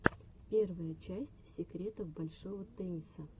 первая часть секретов большого тенниса